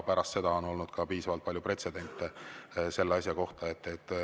Pärast seda on olnud piisavalt palju ka pretsedente selle asja kohta.